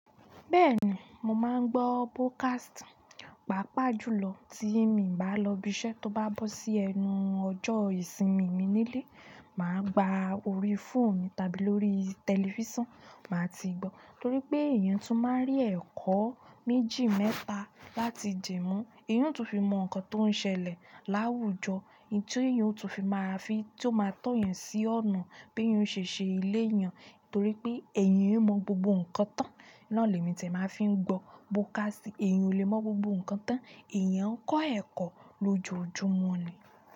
Bẹ́ẹ̀ni, mo máa ń gbọ́ podcast. Pápá jùlọ tí i mi bá lọ ibi iṣẹ́ tó bá bọ́ sí ẹnu ọjọ́ ìsinmi mi nílé, mà á gba orí fóònù tàbí lórí tẹlifísàn, mà á ti gbọ́. Torí pé èèyàn tún máa ń rí ẹ̀kọ́ méjì mẹ́ta láti di mu. Èèyàn tún fi mọ nǹkan tó ń ṣẹlẹ̀ láwùjọ, èyí tó èèyàn tún fi máa fi, tí ó máa tọ̀ yàn sí ọ̀nà bí èèyàn ṣe ṣe ilé eeyàn. Torí pé èèyàn ò ki n mọ gbogbo ǹkan tán. Náà ni èmi ti ẹ̀ máa fi ń gbọ́ podcast. Èèyàn ò lè mọ gbogbo ǹkan tán ẹ̀yàn ń kọ́ ẹ̀kọ́ lójoojúmọ́ ni.